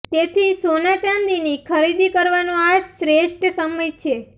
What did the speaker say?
તેથી સોના ચાંદીની ખરીદી કરવાનો આ શ્રેષ્ઠ સમય છે